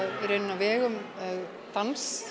á vegum dansks